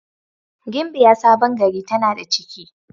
Gimbiya Sabon gari tana da ciki.